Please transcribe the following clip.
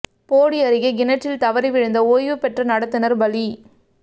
போடி அருகே கிணற்றில் தவறி விழுந்து ஓய்வு பெற்ற நடத்துநா் பலி